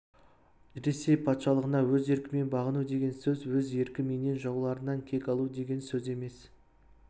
ресей патшалығына өз еркімен бағыну деген сөз өз еркіменен жауларынан кек алу деген сөз емес